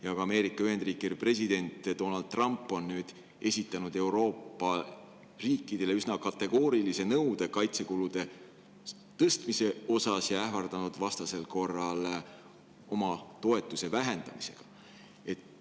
Ja ka Ameerika Ühendriikide president Donald Trump on nüüd esitanud Euroopa riikidele üsna kategoorilise nõude kaitsekulude tõstmise osas ja ähvardanud vastasel korral oma toetuse vähendamisega.